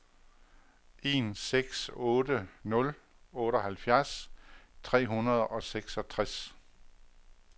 en seks otte nul otteoghalvfjerds tre hundrede og seksogtres